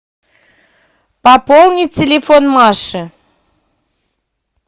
пополни телефон маши